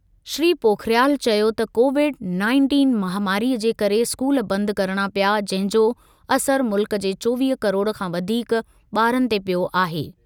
श्री पोखरियाल चयो त Covid nineteen महामारीअ जे करे स्कूल बंदि करणा पिया जंहिं जो असर मुल्क जे चोवीह किरोड़ खां वधीक ॿारनि ते पियो आहे।